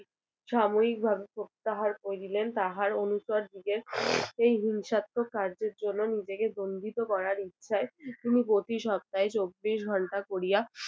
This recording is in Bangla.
সাময়িকভাবে প্রত্যাহার করে দিলেন তাহার অনুচরদিগের এই হিংসাত্মক কার্যের জন্যে নিজেকে দণ্ডিত করার ইচ্ছায় তিনি প্রতি সপ্তাহে চব্বিশ ঘণ্টা করিয়া